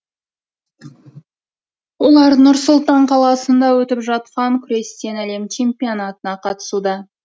олар нұр сұлтан қаласында өтіп жатқан күрестен әлем чемпионатына қатысуда